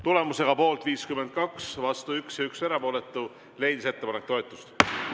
Tulemusega poolt 52, vastu 1 ja 1 erapooletu, leidis ettepanek toetust.